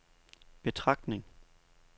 betragtning